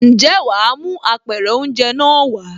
Ǹjẹ́ wàá mú Apẹ̀rẹ̀ oúnjẹ náà wàá?